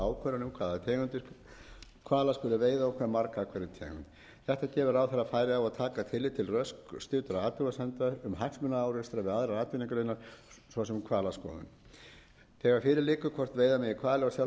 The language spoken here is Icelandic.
veiða og hve marga af hverri tegund þetta gefur ráðherra færi á að taka tillit til rökstuddra athugasemda um hagsmunaárekstra við aðrar atvinnugreinar svo sem hvalaskoðun þegar fyrir liggur hvort veiða megi hvali á sjálfbæran hátt